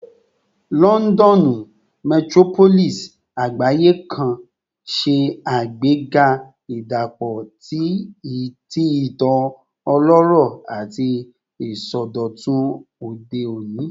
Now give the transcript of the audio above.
Lọndọnu, metropolis agbaye kan, ṣe agbega idapọ ti itan ọlọrọ ati isọdọtun ode oni